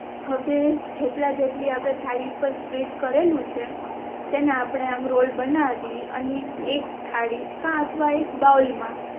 હવે જેટલા જેટલી આપણે થાળી ઉપર સ્પ્રેડ કરેલું છે તેના આપણે આમ રોલ બનાવી અને એક થાળી કા અથવા એક બાઉલ મા